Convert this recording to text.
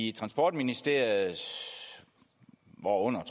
i transportministeriet hvorunder